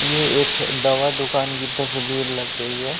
ये एक दवा दुकान की तस्वीर लग रही है।